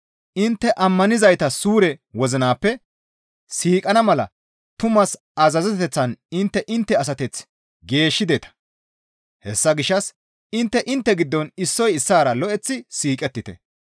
Intte ammanizayta suure wozinappe siiqana mala tumaas azazeteththan intte intte asateth geeshshideta; hessa gishshas intte intte giddon issoy issaara lo7eththi siiqettite.